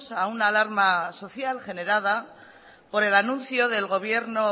a una alarma social generada por el anuncio del gobierno